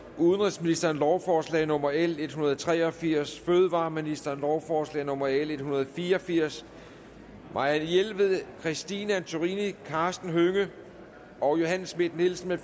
udenrigsministeren lovforslag nummer l en hundrede og tre og firs fødevareministeren lovforslag nummer l en hundrede og fire og firs marianne jelved christine antorini karsten hønge og johanne schmidt nielsen